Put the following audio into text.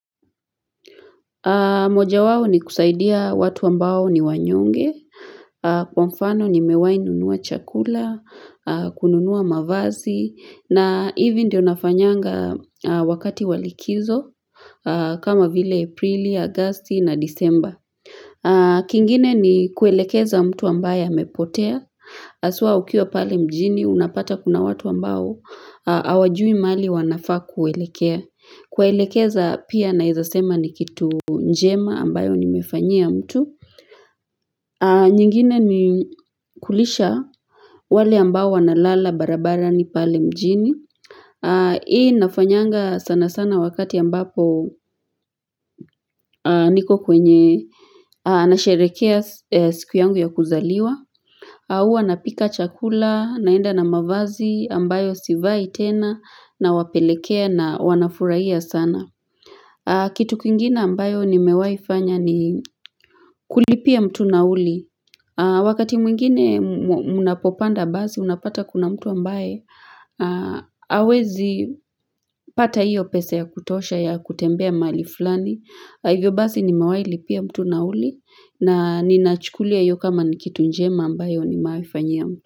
Moja wawo ni kusaidia watu ambao ni wanyonge, kwa mfano ni mewahi nunua chakula, kununua mavazi, na hivi ndio nafanyanga wakati wa likizo, kama vile aprili, agosti na desemba. Kingine ni kuelekeza mtu ambaya mepotea, haswa ukiwa pale mjini, unapata kuna watu ambao, hawajui mahali wanafa kuelekea. Kuwaelekeza pia naweza sema ni kitu njema ambayo nimefanyia mtu nyingine ni kulisha wale ambao wanalala barabarani pale mjini Hii nafanyanga sanasana wakati ambapo niko kwenye Anasherehekea siku yangu ya kuzaliwa Huwa napika chakula, naenda na mavazi ambayo sivai tena nawapelekea na wanafurahiya sana Kitu kingine ambayo ni mewahi fanya ni kulipia mtu nauli Wakati mwingine mnapopanda basi unapata kuna mtu ambaye hawezi pata hiyo pesa ya kutosha ya kutembea mali fulani Hivyo bazi ni mewhi lipia mtu nauli na ninachukulia yiyo kama ni kitu njema ambayo ni mawahi fanyia mtu.